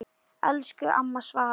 Elsku amma Svava.